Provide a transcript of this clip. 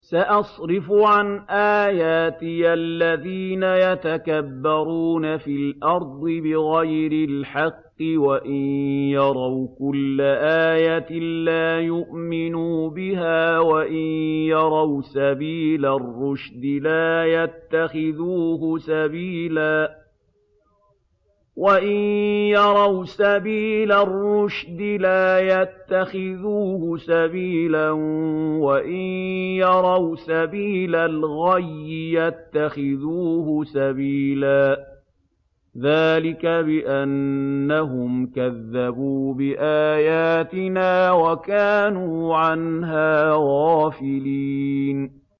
سَأَصْرِفُ عَنْ آيَاتِيَ الَّذِينَ يَتَكَبَّرُونَ فِي الْأَرْضِ بِغَيْرِ الْحَقِّ وَإِن يَرَوْا كُلَّ آيَةٍ لَّا يُؤْمِنُوا بِهَا وَإِن يَرَوْا سَبِيلَ الرُّشْدِ لَا يَتَّخِذُوهُ سَبِيلًا وَإِن يَرَوْا سَبِيلَ الْغَيِّ يَتَّخِذُوهُ سَبِيلًا ۚ ذَٰلِكَ بِأَنَّهُمْ كَذَّبُوا بِآيَاتِنَا وَكَانُوا عَنْهَا غَافِلِينَ